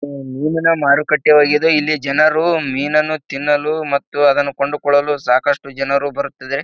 ಆಹ್ಹ್ ಮೀನಿನ ಮಾರುಕಟ್ಟೆ ಹೋಗಿದೆ ಇಲ್ಲಿ ಜನರು ಮೀನನ್ನು ತಿನ್ನಲು ಮತ್ತು ಅದನ್ನು ಕೊಂಡುಕೊಳ್ಳಲು ಸಾಕಷ್ಟು ಜನರು ಬರುತ್ತಿದೆ.